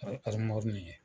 aramɔri min ye.